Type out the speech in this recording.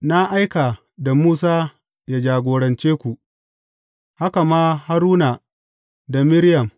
Na aika da Musa yă jagorance ku, haka ma Haruna da Miriyam.